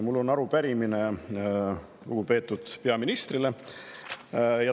Mul on arupärimine lugupeetud peaministrile.